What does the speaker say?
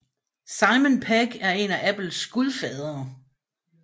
Simon Pegg er en af Apples gudfadere